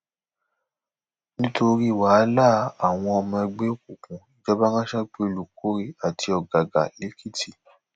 nítorí wàhálà àwọ ọmọ ẹgbẹ òkùnkùn ìjọba ránṣẹ pé olùkórè àti ògògà l ekìtì